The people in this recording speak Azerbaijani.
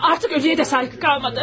Artıq ölüye də sayğı qalmadı.